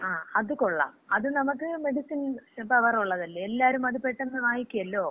ങാ, അത് കൊള്ളാം. അത് നമുക്ക് മെഡിസിൻ പവർ ഒള്ളതല്ലേ? എല്ലാരും അത് പെട്ടെന്ന് വാങ്ങിക്കുവല്ലോ?